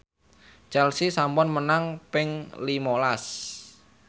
Chelsea sampun menang ping lima las